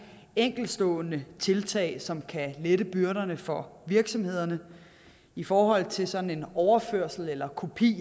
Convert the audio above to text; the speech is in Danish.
enkeltstående tiltag som kan lette byrderne for virksomhederne i forhold til sådan overførsel eller kopi